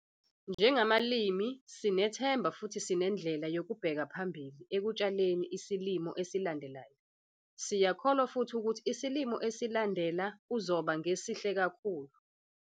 Njengabalimi sinethemba futhi sinendlela yokubheka phambili ekutshaleni isilimo esilandelayo. Siyakholwa futhi ukuthi isilimo esilandela kuzoba ngesihle kakhulu.